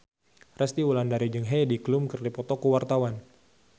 Resty Wulandari jeung Heidi Klum keur dipoto ku wartawan